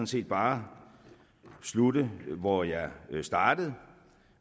set bare slutte hvor jeg startede